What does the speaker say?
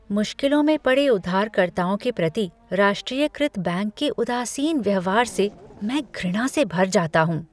मुश्किलों में पड़े उधारकर्ताओं के प्रति राष्ट्रीयकृत बैंक के उदासीन व्यवहार से मैं घृणा से भर जाता हूँ।